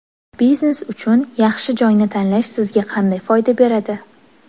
Biznes uchun yaxshi joyni tanlash sizga qanday foyda beradi?